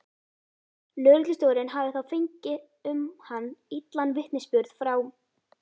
Lögreglustjórinn hafði þá fengið um hann illan vitnisburð frá